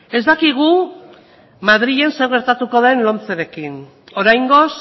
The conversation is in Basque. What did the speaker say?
ez dakigu madrilen zer gertatuko den lomcerekin oraingoz